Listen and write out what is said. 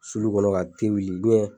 Sulu kɔnɔ ka wuli